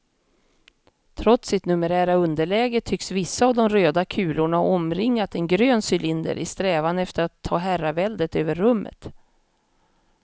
Trots sitt numerära underläge tycks vissa av de röda kulorna ha omringat en grön cylinder i strävan efter att ta herraväldet över rummet.